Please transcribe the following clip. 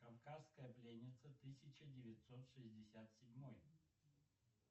кавказская пленница тысяча девятьсот шестьдесят седьмой